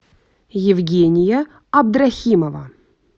евгения абдрахимова